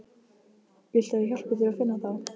Viltu að ég hjálpi þér að finna þá?